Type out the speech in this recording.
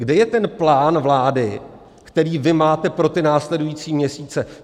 Kde je ten plán vlády, který vy máte pro ty následující měsíce?